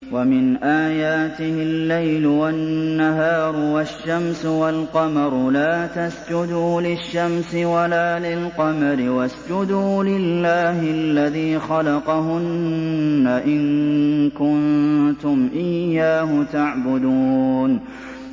وَمِنْ آيَاتِهِ اللَّيْلُ وَالنَّهَارُ وَالشَّمْسُ وَالْقَمَرُ ۚ لَا تَسْجُدُوا لِلشَّمْسِ وَلَا لِلْقَمَرِ وَاسْجُدُوا لِلَّهِ الَّذِي خَلَقَهُنَّ إِن كُنتُمْ إِيَّاهُ تَعْبُدُونَ